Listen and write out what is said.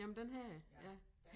Jamen den havde jeg ja